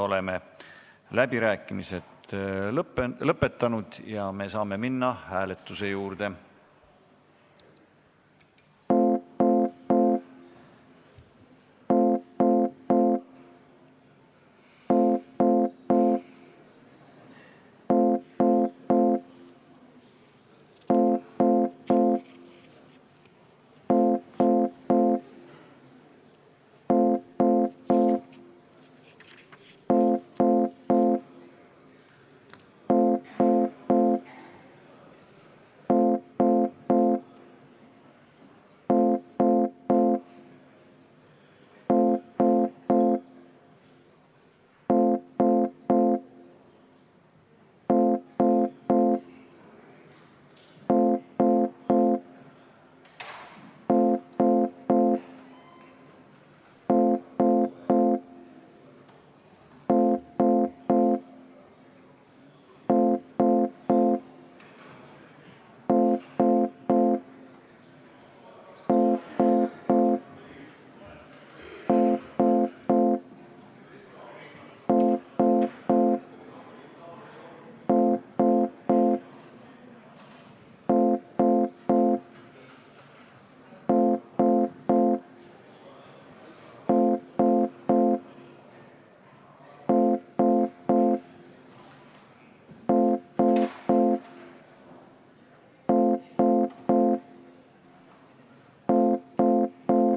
Oleme läbirääkimised lõpetanud ja me saame minna hääletuse juurde.